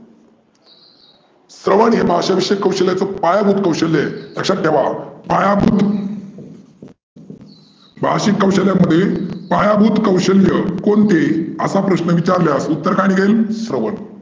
स्रवन हे भाषा विषयक कौशल्याचे पायाभुत कौशल्या आहे, लक्षात ठेवा. पायाभुत भाषीक कौशल्या मध्ये पायाभुत कौशल्य कोणते? असा प्रश्न विचारल्यास उत्तर काय निघेन? स्रवन.